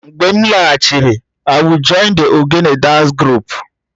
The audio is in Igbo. Mgbe m laghachiri, I will join the egegne dance group